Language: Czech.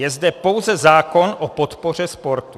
Je zde pouze zákon o podpoře sportu.